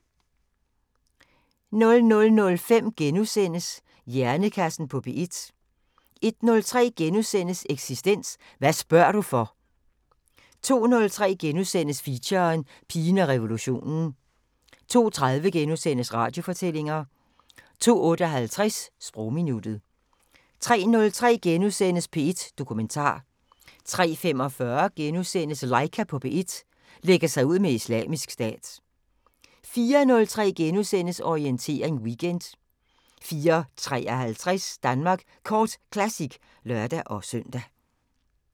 00:05: Hjernekassen på P1 * 01:03: Eksistens: Hvad spørger du for? * 02:03: Feature: Pigen og revolutionen * 02:30: Radiofortællinger * 02:58: Sprogminuttet 03:03: P1 Dokumentar * 03:45: Laika på P1 – lægger sig ud med Islamisk Stat * 04:03: Orientering Weekend * 04:53: Danmark Kort Classic (lør-søn)